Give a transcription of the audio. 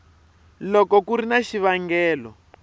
loko ku ri na xivangelo